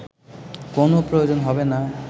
কোনো প্রয়োজন হবে না